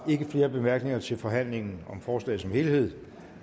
ikke flere bemærkninger til forhandlingen om forslaget som helhed